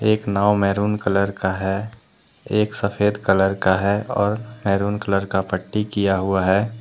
एक नाव maroon colour का है एक सफेद कलर का है और मैरून कलर का पट्टी किया हुआ है।